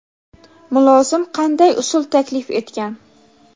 mulozim qanday usul taklif etgan?.